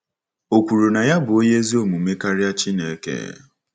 O kwuru na ya bụ onye ezi omume karịa Chineke.